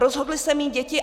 Rozhodli se mít děti.